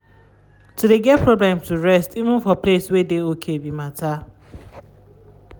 to de get problem to rest even for place wey de okay be matter.